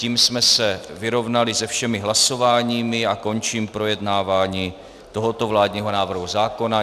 Tím jsme se vyrovnali se všemi hlasováními a končím projednávání tohoto vládního návrhu zákona.